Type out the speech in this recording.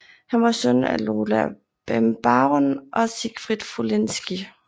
Han var søn af Lola Bembaron og Siegfried Wolinski